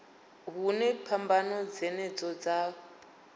hune phambano dzenedzo dza ḓo